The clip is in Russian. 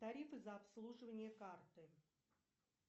тарифы за обслуживание карты